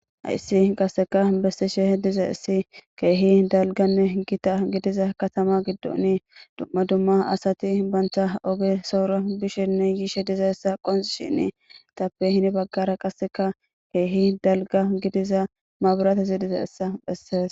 Hayissi qasseka bessishe diza issi keehi dalganne gita gidiza katama giddoni dumma dumma asati bantha oge soora bishenne yiishe diza essa qoncishini tappe hini baggara qasseka keehi dalga gidiza mabirate diza essa bessees.